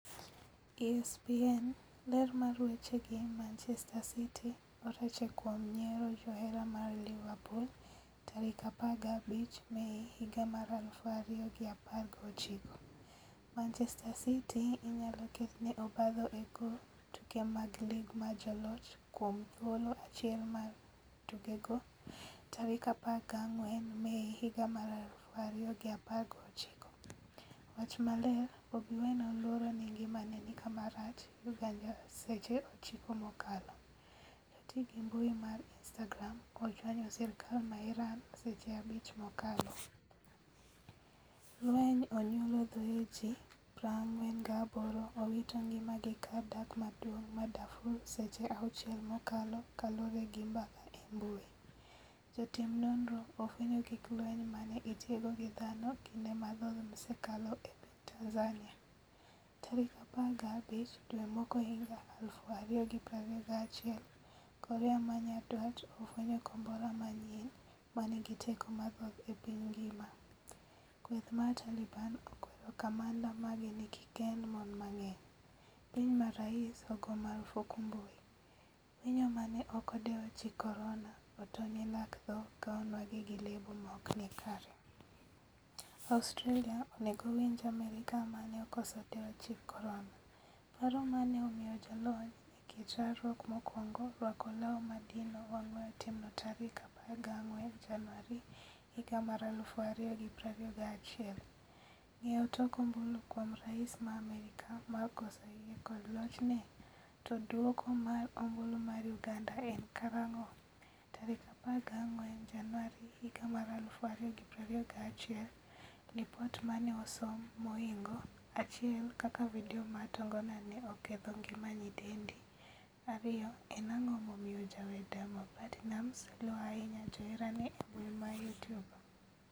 (ESPN) Ler mar weche gi Manchester City orache kuom nyiero johera mar Liverpool 15 Mei 2019. Manchester City inyalo ketne obadho e goo tuke mag lig mar joloch kuom thuolo achiel mag tukego 14 Mei 2019.Wach maler Bobi Wine oluoro ni ngimane ni kama rach' Uganda Seche 9 mokalo. Joti gi mbui mar Instagram ochwanyo sirkal ma Iran seche 5 mokalo. Lweny onyuolo thoe ji 48 owito ngima gi kar dak maduong' ma Darfur Seche 6 mokalo kaluore gi mbaka e mbui. Jotim nonro ofwenyo gig lweny mane itiyogo gi dhano kinde mathoth msekalo e piny Tanzania. Tarik 15 dwe mokwongohiga 2021 korea manyandwat ofwenyo kombora manyien manigi teko mathoth e piny ngima. Kweth mar Taliban okwero kamanda mage ni kikkend mon mang'eny. piny ma rais ogo marufuku mbui. Winyo mane ok odewo chik korona otony e lak tho ka onwang'e gi lebo maokni kare. Australia onego winj Amerka mane okoso dewo chik korona. paro mane omiyo jalony e kit rwakruok mokwongo rwako law madino wang' weyo timno tarik 14 januari 2021. Ng'eyo tok ombulu kuom rais ma Amerka mar koso yie kod lochne? To duoko mar ombulu mar uganda en karang'o?14 Januari 2021Lipot mane osom mohingo 1 kaka video mar tongona ne oketho ngima nyidendi 2. en ang'o momiyo jawer Diamond Platinumz luo ahinya joherane embui ma Youtube?